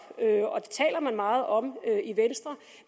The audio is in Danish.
og man meget om